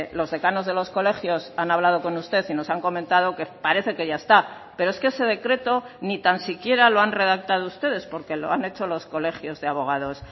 los decanos de los colegios han hablado con usted y nos han comentado que parece que ya está pero es que ese decreto ni tan siquiera lo han redactado ustedes porque lo han hecho los colegios de abogados